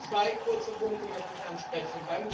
Zwei kurze Punkte möchte ich ansprechen.